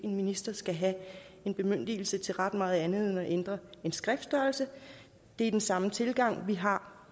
en minister skal have en bemyndigelse til ret meget andet end at ændre en skriftstørrelse det er den samme tilgang vi har